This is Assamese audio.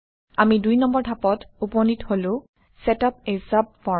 আমি ২ নম্বৰ ধাপত উপনীত হলো - চেট আপ a subform